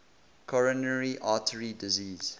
coronary artery disease